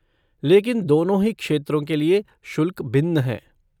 लेकिन दोनों ही क्षेत्रों के लिए शुल्क भिन्न हैं।